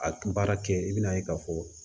A baara kɛ i bɛ n'a ye k'a fɔ